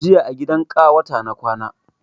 Jiya a gidan ƙawata na kwana